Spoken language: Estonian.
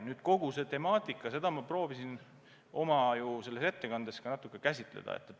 Nüüd, kogu see temaatika – ma proovisin oma ettekandes seda ka natuke käsitleda.